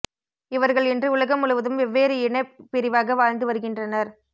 இவர்கள் இன்று உலகம் முழுவதும் வேவ்வேறு இன பிரிவாக வாழ்ந்து வருகின்றனர்